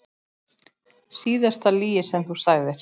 Síðasta lygi sem þú sagðir?